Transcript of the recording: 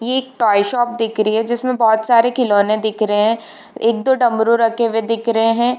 ये एक toy shop दिख रही है जिसमे बहुत सारे खिलौने दिख रहे है। एक दो डमरू रखे हुए दिख रहे है।